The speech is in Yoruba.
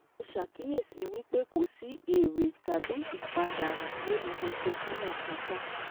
Mo ṣàkíyèsí wípé kò sí èrè tàbí ìpàdánu nínú ètò káràkátà